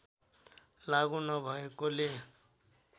लागु नभएकोले